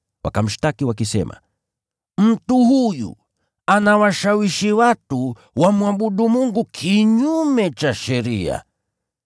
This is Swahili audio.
Wakamshtaki wakisema, “Mtu huyu anawashawishi watu wamwabudu Mungu kinyume cha sheria.”